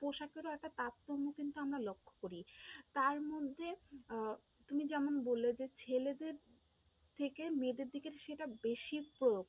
পোশাকেরও একটা তারতম্য কিন্তু আমরা লক্ষ্য করি, তারমধ্যে আহ তুমি যেমন বললে যে, ছেলেদের থেকে মেয়েদের দিকে সেটার বেশি প্রয়োগ,